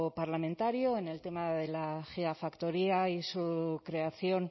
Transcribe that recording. parlamentario en el tema de la gigafactoría y su creación